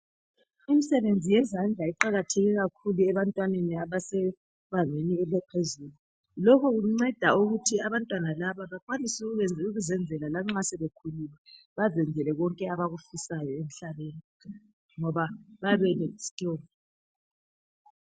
Imisebenzi yezandla iqakatheke kakhulu ebantwaneni abase bangeni elaphezulu lokho kunceda ukuthi abantwana laba bakwanise ukuzenzela lanxa sebekhulile bazenzele konke abakufisayo emhlabeni ngoba bayabe bele skill